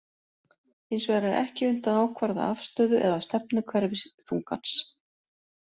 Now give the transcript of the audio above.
Hins vegar er ekki unnt að ákvarða afstöðu eða stefnu hverfiþungans.